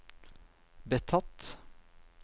betatt